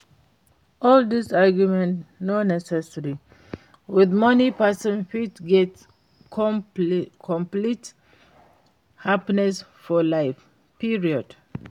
All dis argument no necessary, with money person fit get complete happiness for life, period!